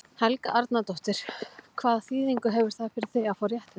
Helga Arnardóttir: Hvaða þýðingu hefur það fyrir þig að fá réttindi?